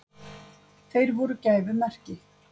Þeir væru gæfumerki.